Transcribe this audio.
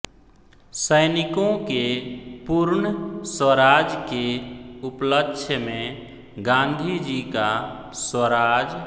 सैनिको के पूर्ण स्वराज के उपलक्ष्य में गांधीजी का स्वराज